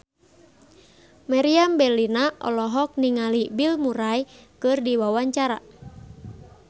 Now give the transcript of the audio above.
Meriam Bellina olohok ningali Bill Murray keur diwawancara